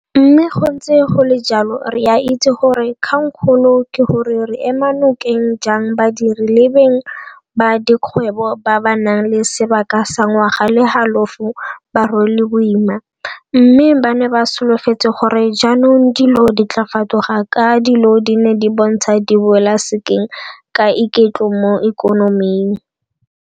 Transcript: Mme go ntse go le jalo re a itse gore 'kgangkgolo' ke gore re ema nokeng jang badiri le beng ba dikgwebo ba ba nang le sebaka sa ngwaga le halofo ba rwele boima, mme ba ne ba solofetse gore jaanong dilo di tla fetoga ka dilo di ne di bontsha di boela sekeng ka iketlo mo ikonoming.